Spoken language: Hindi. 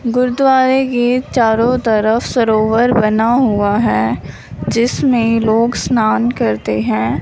गुरुद्वारा के चारों तरफ सरोवर बना हुआ है जिसमें लोग स्नान करते हैं।